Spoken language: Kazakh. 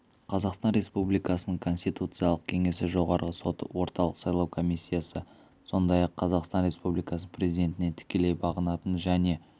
қазақстан республикасының конституциялық кеңесі жоғарғы соты орталық сайлау комиссиясы сондай-ақ қазақстан республикасының президентіне тікелей бағынатын және